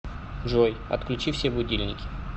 джой отключи все будильники